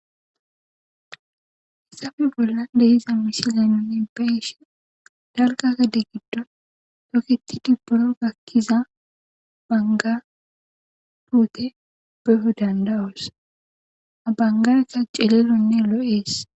Hissafi bolla dehiza misile nunne beshe dalkakede giddon doketi dibboro gakkiza banga duute beyo dandawus abangaeka celelonne lo'ees.